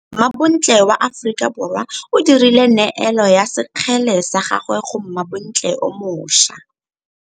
Mmabontle wa Aforika Borwa o dirile nêêlo ya sekgele sa gagwe go mmabontle o moša.